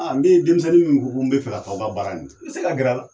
ni denmisɛnnin min ko n bɛ fɛ kɛ k'aw ka baara in kɛ i bɛ se ka gɛrɛ a la.